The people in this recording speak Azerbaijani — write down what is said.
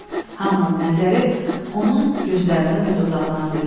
Hamının nəzəri onun gözlərinə və dodağına zilləndi.